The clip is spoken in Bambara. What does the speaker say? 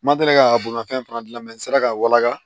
Ma deli ka bolimafɛn fana dilan n sera ka walaka